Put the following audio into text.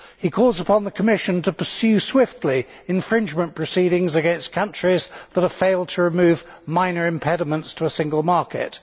He calls upon the Commission to pursue swiftly infringement proceedings against countries that have failed to remove minor impediments to a single market.